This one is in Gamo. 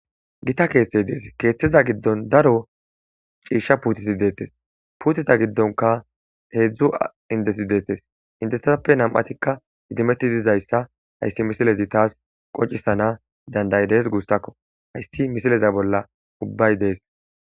Gita keethtey dees keeththiza giddon daro ciisha puutiti deettes puutita giddonka heedzdzu indesi deettes inteappe nam7atikka hitimetti dizayssa hayssi misilezi taas qoncisana dandayidees guussakko hayssi misileza bolla ubbay dees